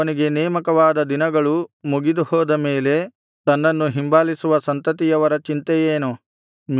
ಅವನಿಗೆ ನೇಮಕವಾದ ದಿನಗಳು ಮುಗಿದುಹೋದ ಮೇಲೆ ತನ್ನನ್ನು ಹಿಂಬಾಲಿಸುವ ಸಂತತಿಯವರ ಚಿಂತೆ ಏನು